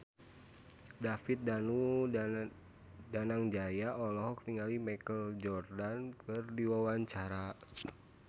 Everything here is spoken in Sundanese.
David Danu Danangjaya olohok ningali Michael Jordan keur diwawancara